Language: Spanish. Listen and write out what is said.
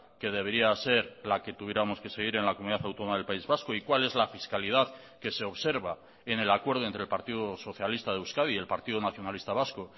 que debería ser la que tuviéramos que seguir en la comunidad autónoma del país vasco y cuál es la fiscalidad que se observa en el acuerdo entre el partido socialista de euskadi y el partido nacionalista vasco